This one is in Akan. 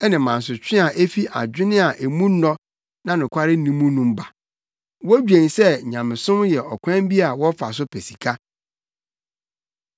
ne mansotwe a efi adwene a emu nnɔ na nokware nni mu mu ba. Wodwen sɛ nyamesom yɛ ɔkwan bi a wɔfa so pɛ sika.